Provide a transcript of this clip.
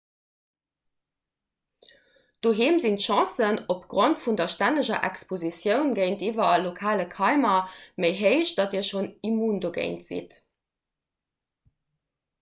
doheem sinn d'chancen opgrond vun der stänneger expositioun géintiwwer lokale keimer méi héich datt dir schonn immun dogéint sidd